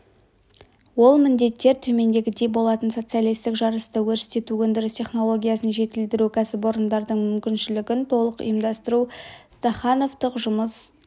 ол міндеттер төмендегідей болатын социалистік жарысты өрістету өндіріс технологиясын жетілдіру кәсіпорындардың мүмкіншілігін толық ұйымдастыру стахановтық жұмыс